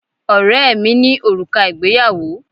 Ọ̀rẹ́ ẹ mí ní òrùka ìgbéyàwó